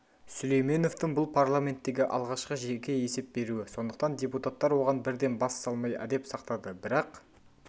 сүлейменовтің бұл парламенттегі алғашқы жеке есеп беруі сондықтан депутаттар оған бірден бас салмай әдеп сақтады бірақ